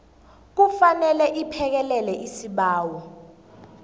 kufanele iphekelele isibawo